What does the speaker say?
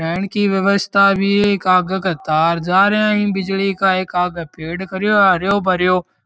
रहन की व्यवस्था भी है आगे का तार जार है बिजली का एक आगे पेड़ खड़ो है हरो भरो --